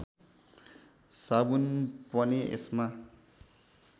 साबुन पनि यसमा